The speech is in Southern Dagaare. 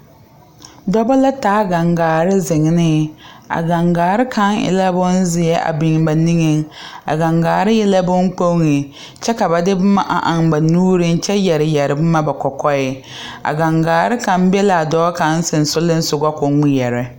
Dɔba la taa gaŋgaare ziŋ ne a gaŋgaare kaŋ e la bonzeɛ a biŋ ba nigeŋ a gaŋgaare e la bonkpoŋ kyɛ ka ba de boma eŋ ba nuureŋ kyɛ yɛre yɛre boma ba kɔkɔɛ a gaŋgaare kaŋ be la a dɔɔ kaŋ sensoglensoga ko o ŋmeɛrɛ.